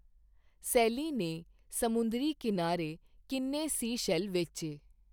ਸੈਲੀ ਨੇ ਸਮੁੰਦਰੀ ਕੀਨਾਰੇ ਕਿੰਨੇ ਸੀਸ਼ੈਲ ਵੇਚੇਂ ?